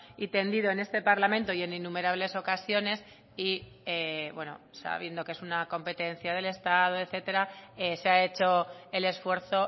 y tendido en este parlamento y en innumerables ocasiones y sabiendo que es una competencia del estado etcétera se ha hecho el esfuerzo